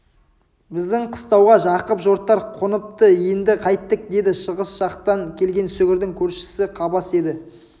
біздің қыстауға жақып жортар қоныпты енді қайттік деді шығыс жақтан келген сүгірдің көршісі қабас еді